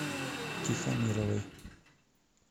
тихомировой